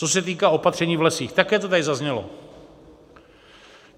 Co se týká opatření v lesích, také to tady zaznělo.